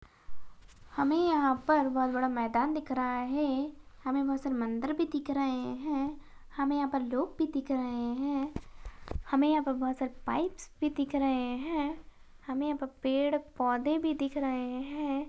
हमें यहाँ पर बहुत बड़ा मैदान दिख रहा है हमें बहुत सारे मन्दिर भी दिख रहें हैं हमें यहाँ पर लोग भी दिख रहें हैं हमें यहाँ पर बहुत सारे पाईपस भी दिख रहें हैं हमें यहाँ पर पेड़-पोधे भी दिख रहें हैं।